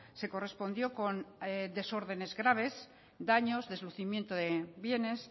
se correspondió con desórdenes graves daños deslucimiento de bienes